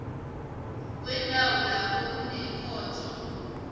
wendawo lapha kunekhotho